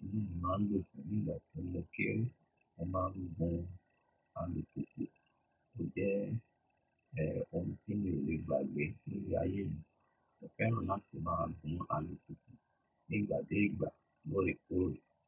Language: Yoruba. olúù máa ń lo nígbàtí lọkẹ̀lẹ́, wọn máa ń lo ó hun alùpùpù. O jẹ́ èè ohun tí mi ò lè gbàgbé níle ayé mi. Mo fẹ́ràn láti máa hun alùpùpù nígbà dé ìgbà lóre kore.